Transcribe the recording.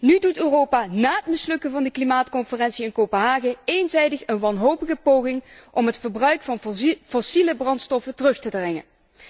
Nu doet Europa na het mislukken van de klimaatconferentie in Kopenhagen eenzijdig een wanhopige poging om het gebruik van fossiele brandstoffen terug te dringen.